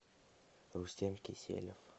рустем киселев